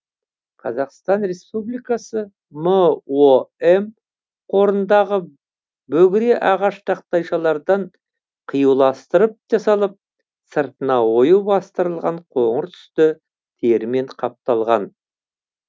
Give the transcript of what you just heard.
қазақстан республикасы мом қорындағы бөгіре ағаш тақтайшалардан қиюластырып жасалып сыртына ою бастырылған қоңыр түсті терімен қапталған